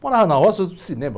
Morava na roça... cinema.